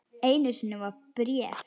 Einu sinni var bréf.